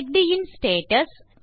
செக்கடின் status